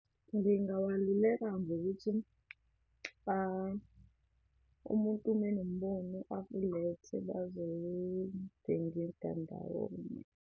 Ngingawaluleka ngokuthi umuntu uma enombono, akulethe la azodingidwa ndawonye.